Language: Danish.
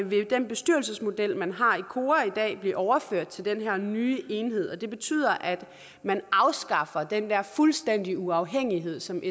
vil den bestyrelsesmodel man har i kora i dag blive overført til den her nye enhed det betyder at man afskaffer den der fuldstændige uafhængighed som